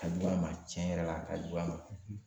A ka jugu a ma, cɛn yɛrɛ la, a ka jugu a ma